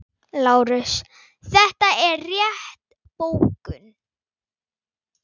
LÁRUS: Þetta er rétt bókun.